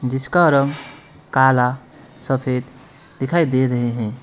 जिसका रंग काला सफेद दिखाई दे रहे है।